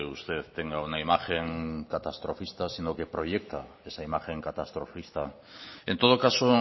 usted tenga una imagen catastrofista sino que proyecta esa imagen catastrofista en todo caso